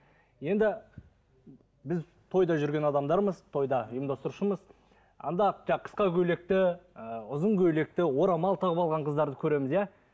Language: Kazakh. енді біз тойда жүрген адамдармыз тойда ұйымдастырушымыз анда қысқа көйлекті ыыы ұзын көйлекті орамал тағып алған қыздарды көреміз иә